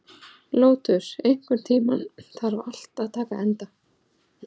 Lótus, einhvern tímann þarf allt að taka enda.